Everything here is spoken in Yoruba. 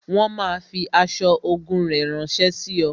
Wọn máa fi aṣọ ogun rẹ ránsẹ́ sí ọ